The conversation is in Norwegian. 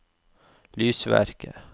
lysverker